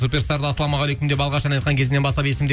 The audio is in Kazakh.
суперстарда ассалаумағалейкум деп алғаш ән айтқан кезінен бастап есімде